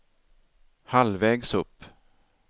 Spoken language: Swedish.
halvvägs upp